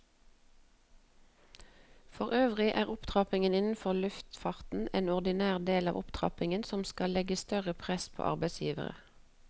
Forøvrig er opptrappingen innenfor luftfarten en ordinær del av opptrappingen som skal legge større press på arbeidsgiverne.